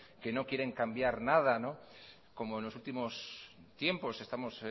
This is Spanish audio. que no quieren cambiar nada como en los últimos tiempos estamos